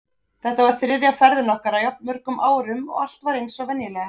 Þetta var þriðja ferðin okkar á jafn mörgum árum og allt var eins og venjulega.